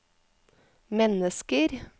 mennesker